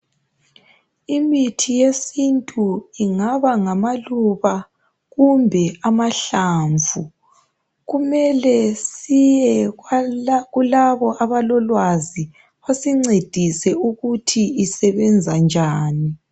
Imithi yesintu ingaba ngamaluba kumbe amahlamvu. Kumele siye kulabo abalolwazi basincedise ukuthi isebenza njani.